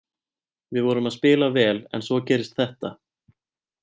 Við vorum að spila vel en svo gerist þetta.